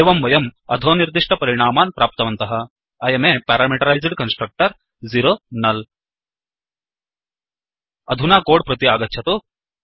एवं वयम् अधोनिर्दिष्टपरिणामान् प्राप्तवन्तः160 I अं a पैरामीटराइज्ड कन्स्ट्रक्टर 0 नुल् अधुना कोड् प्रति आगच्छतु